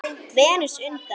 Venus undan